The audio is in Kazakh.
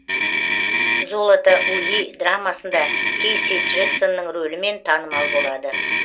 золото ули драмасында кейси джексонның рөлімен танымал болады